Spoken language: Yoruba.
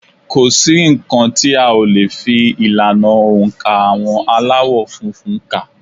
Kò sí nǹkan tí a ò le fi ìlànà oǹkà àwọn Aláwọ̀ funfun kà